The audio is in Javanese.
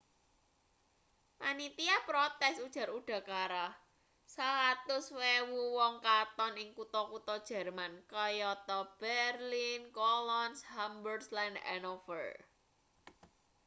panitia protes ujar udakara 100.000 wong katon ing kutha-kutha jerman kayata berlin cologne hamburg lan hanover